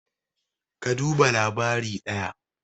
ka duba labari daya?